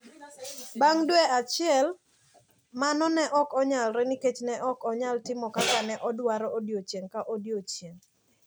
Bang` dwe achiel mano ne ok onyalore nikech ne ok anyalo timo kaka ne adwaro odiechieng` ka odiechieng`.